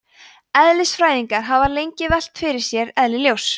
eðlisfræðingar hafa lengi velt fyrir sér eðli ljóss